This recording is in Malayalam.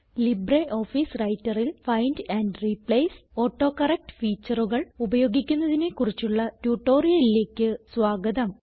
ലിബ്രിയോഫീസ് Writerൽ ഫൈൻഡ് ആൻഡ് റിപ്ലേസ് ഓട്ടോകറക്ട് faetureകൾ ഉപയോഗിക്കുന്നതിനെ കുറിച്ചുള്ള ട്യൂട്ടോറിയലിലേക്ക് സ്വാഗതം